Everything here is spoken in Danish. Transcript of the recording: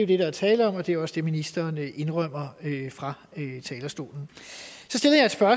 det der er tale om og det er også det ministeren indrømmer fra talerstolen